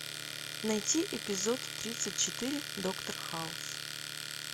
найти эпизод тридцать четыре доктор хаус